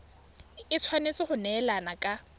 e tshwanetse go neelana ka